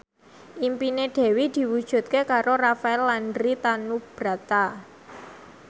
impine Dewi diwujudke karo Rafael Landry Tanubrata